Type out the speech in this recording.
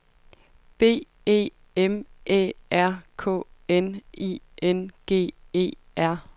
B E M Æ R K N I N G E R